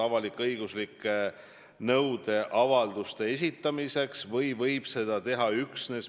Ma olen loomulikult nõus ka teile seda uuesti, kolmandat korda üle kordama.